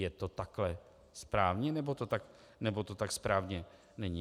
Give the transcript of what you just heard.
Je to takhle správně, nebo to tak správně není?